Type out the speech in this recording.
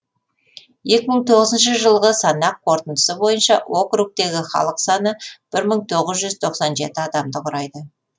екі мың тоғызыншы жылғы санақ қорытындысы бойынша округтегі халық саны бір мың тоғыз жүз тоқсан жеті адамды құрайды